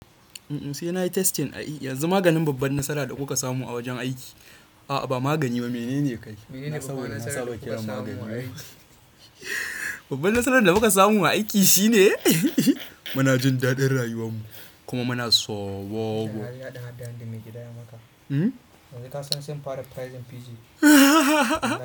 Sai na yi testing a yi, yanzu maganin babban nasara da kuka samu a wajen aiki. A'a ba magani ba mene ne kai? Babban nasarar da muka samu aiki shine muna jin dadin rayuwar mu kuma muna sooguuu. Yanzu ka san sun fara pricing Fiji.